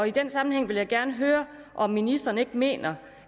i den sammenhæng vil jeg gerne høre om ministeren ikke mener